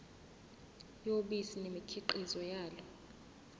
yobisi nemikhiqizo yalo